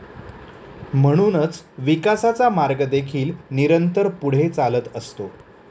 म्हणूनच विकासाचा मार्ग देखील निरंतर पुढे चालत असतो.